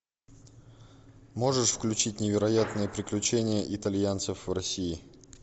можешь включить невероятные приключения итальянцев в россии